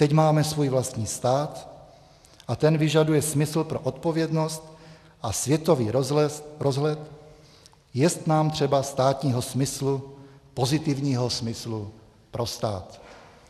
Teď máme svůj vlastní stát a ten vyžaduje smysl pro odpovědnost a světový rozhled, jest nám třeba státního smyslu, pozitivního smyslu pro stát."